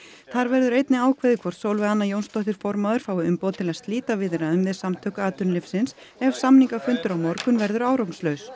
þar verður einnig ákveðið hvort Sólveig Anna Jónsdóttir formaður fái umboð til að slíta viðræðum við Samtök atvinnulífsins ef samningafundur á morgun verður árangurslaus